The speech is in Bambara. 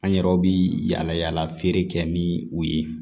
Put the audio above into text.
An yɛrɛw bi yala yala feere kɛ ni u ye